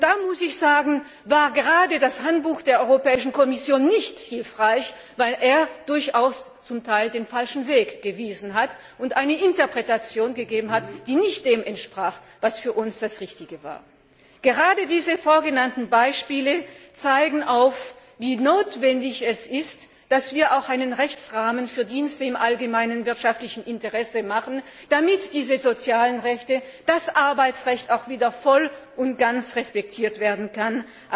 Da war gerade das Handbuch der Europäischen Kommission nicht hilfreich, weil es zum Teil den falschen Weg gewiesen und eine Interpretation gegeben hat, die nicht dem entsprach, was für uns das Richtige war. Gerade diese vorgenannten Beispiele zeigen, wie notwendig es ist, dass wir auch einen Rechtsrahmen für Dienste im allgemeinen wirtschaftlichen Interesse schaffen, damit diese sozialen Rechte wie das Arbeitsrecht auch wieder voll und ganz respektiert werden können.